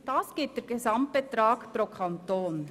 Das ergibt den Gesamtbetrag pro Kanton.